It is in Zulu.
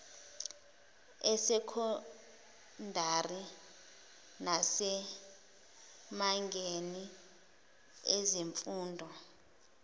esokhondari nasemazingeni ezemfundo